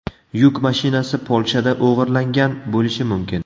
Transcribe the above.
Yuk mashinasi Polshada o‘g‘irlangan bo‘lishi mumkin.